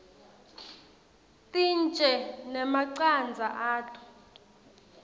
tintje nemacandza ato